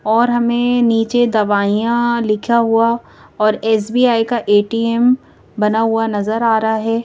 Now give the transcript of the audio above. और हमें नीचे दवाइयां लिखा हुआ और एस_बि_आई का ए_टी_एम बना हुआ नजर आ रहा है।